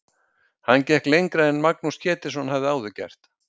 Hann gekk lengra en Magnús Ketilsson hafði áður gert.